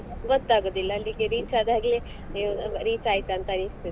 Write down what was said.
ಗೊತ್ತಾಗುದಿಲ್ಲ ಅಲ್ಲಿಗೆ reach ಅದಾಗ್ಲೇ ಅಯ್ಯೋ reach ಆಯ್ತಾ ಅನಿಸ್ತದೆ.